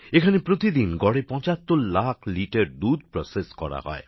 এখানে প্রতিদিন গড়ে ৭৫ লাখ লিটার দুধ প্রকিয়াকরণের কাজ করা হয়